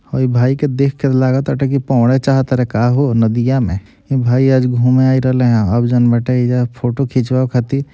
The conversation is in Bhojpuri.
हई भाई के देख के लागबाटे पवबाड़ा चाहत बाटे का हो नदियाँ में भाई आज घूमे आईल रहले यहाँ अब जौन बाटे फ़ोटो खिचवाबे ख़ातिर --